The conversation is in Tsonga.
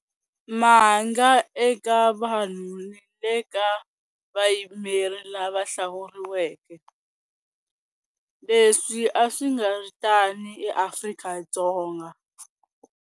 Ma nga eka vanhu ni le ka vayimeri lava hlawuriweke, leswi a swi nga ri tano eAfrika-Dzonga.